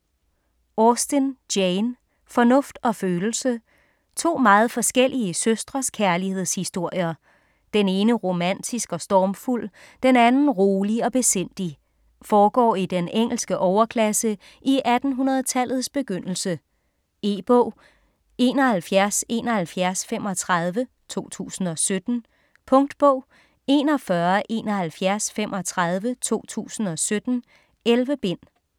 Austen, Jane: Fornuft og følelse To meget forskellige søstres kærlighedshistorier. Den ene romantisk og stormfuld, den anden rolig og besindig. Foregår i den engelske overklasse i 1800-tallets begyndelse. E-bog 717135 2017. Punktbog 417135 2017. 11 bind.